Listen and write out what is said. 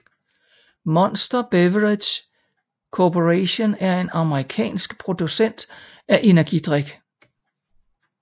Monster Beverage Corporation er en amerikansk producent af energidrik